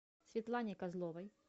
светлане козловой